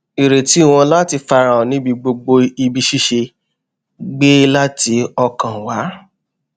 ìrètí wọn láti farahàn níbi gbogbo ibi ṣíṣe gbẹ láti ọkàn wá